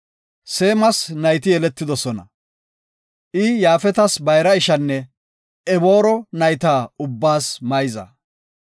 Seemas nayti yeletidosona. I Yaafetas bayra ishanne Eboora nayta ubbaas mayza.